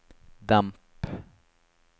demp